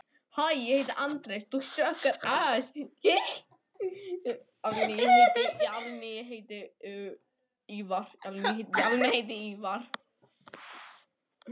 Hvað ætti það svo sem annað að vera?